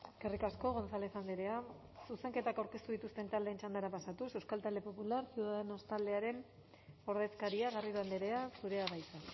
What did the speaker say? eskerrik asko gonzález andrea zuzenketak aurkeztu dituzten txandara pasatuz euskal talde popular ciudadanos taldearen ordezkaria garrido andrea zurea da hitza